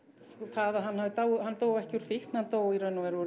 það að hann hafi dáið hann dó ekki úr fíkn hann dó í raun og veru úr